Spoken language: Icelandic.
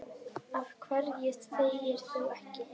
Af hverju þegir þú ekki?